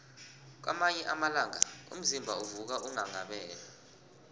kwamanye amalanga umzimba uvuka unghanghabele